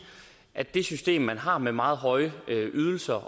at det system man har med meget høje ydelser